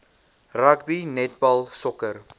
rugby netbal sokker